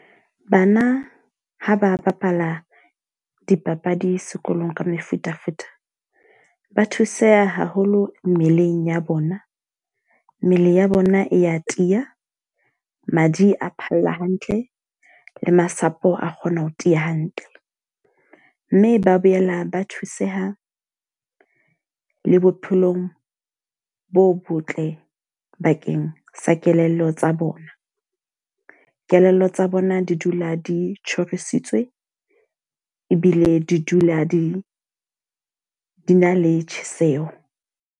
Bana ha ba bapala dipapadi sekolong ka mefutafuta. Ba thuseha haholo mmeleng ya bona, mmele ya bona e a tiya, madi a phalla hantle, le masapo a kgona ho tiya hantle. Mme ba boela ba thuseha le bophelong bo botle bakeng sa kelello tsa bona. Kelello tsa bona di dula di tjhorisitswe ebile di dula di di na le tjheseho.